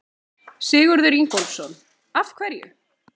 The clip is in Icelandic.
Sigurður Ingólfsson: Af hverju?